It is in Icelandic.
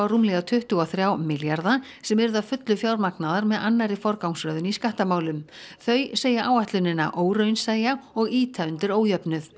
rúmlega tuttugu og þrjá milljarða sem yrðu að fullu fjármagnaðar með annarri forgangsröðun í skattamálum þau segja áætlunina óraunsæja og ýta undir ójöfnuð